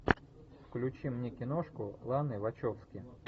включи мне киношку ланы вачовски